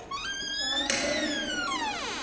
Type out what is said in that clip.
Hvað heitir hann?